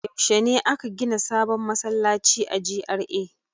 Yaushe ne aka gina sabon masallaci a GRA?